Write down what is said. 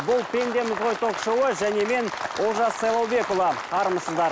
бұл пендеміз ғой ток шоуы және мен олжас сайлаубекұлы армысыздар